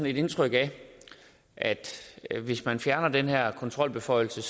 et indtryk af at hvis man fjerner den her kontrolbeføjelse